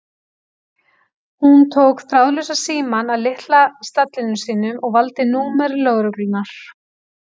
Hún tók þráðlausa símann af litla stallinum sínum og valdi númer lögreglunnar.